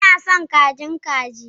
Ina son kajin kaji